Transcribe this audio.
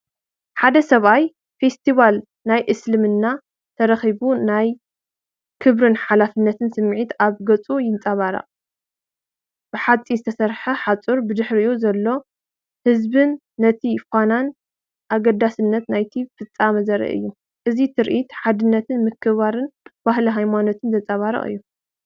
ሓደ ሰብኣይ ፈስቲቫል ናይ እስልምና ተረኺቡ ናይ ክብርን ሓላፍነትን ስምዒት ኣብ ገጹ ይንጸባረቕ። ብሓጺን ዝተሰርሐ ሓጹርን ብድሕሪኡ ዘሎ ህዝብን ነቲ ፍናንን ኣገዳስነትን ናይቲ ፍጻመ ዘርኢ እዩ። እዚ ትርኢት ሓድነትን ምክብባርን ባህልን ሃይማኖትን ዘንጸባርቕ እዩ።